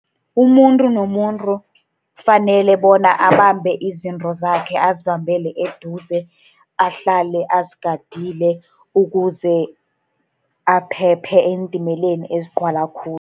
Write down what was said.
Umuntu nomuntu kufanele bona abambe izinto zakhe, azibambele eduze. Ahlale azigadile ukuze aphephe eentimeleni ezigcwala khulu.